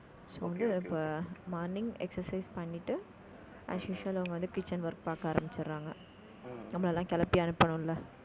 so வந்து இப்ப morning exercise பண்ணிட்டு as usual அவங்க வந்து kitchen work பார்க்க ஆரம்பிச்சறாங்க. நம்மளை எல்லாம் கிளப்பி அனுப்பணும் இல்லை